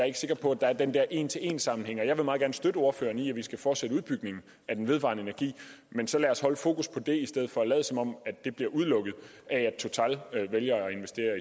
ikke sikker på at der er den der en til en sammenhæng jeg vil meget gerne støtte ordføreren i at vi skal fortsætte udbygningen af vedvarende energi men så lad os holde fokus på det i stedet for at lade som om at det bliver udelukket af at total vælger at investere